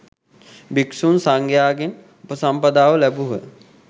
භික්‍ෂු සංඝයාගෙන් උපසම්පදාව ලැබූහ.